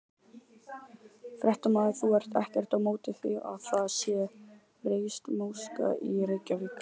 Þrif og hreinlæti gegna lykilhlutverki í sjúkdómavörnum.